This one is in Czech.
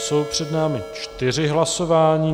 Jsou před námi čtyři hlasování.